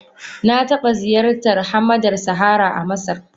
Na taba ziyartar hamadar Sahara a Masar.